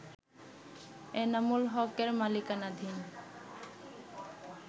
এনামুল হকের মালিকানাধীন